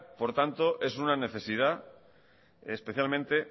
por tanto es una necesidad especialmente